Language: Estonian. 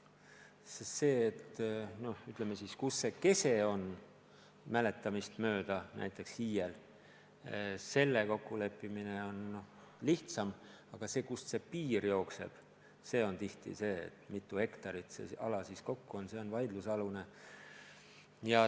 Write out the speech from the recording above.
Kus näiteks mõne hiie kese on, selle kokkuleppimine on minu mäletamist mööda lihtsam, aga kust üldine piir jookseb, mitu hektarit see ala kokku on, see on vaidlusalune.